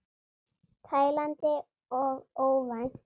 Tælandi og óvænt.